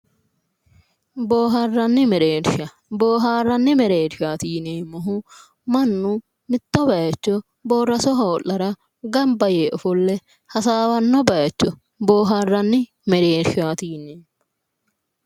Boohaarranni mereersha. Boohaarranni mereershaati yineemmohu mannu mitto bayicho boorraso hoo'lara gamba yee hasaawanno bayicho boohaarranni mereershaati yineemmo.